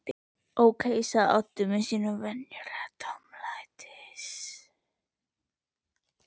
Ókei sagði Oddur með sínum venjulega tómlætis